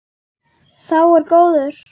Sá er góður.